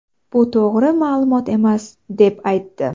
Bu to‘g‘ri ma’lumot emas”, deb aytdi .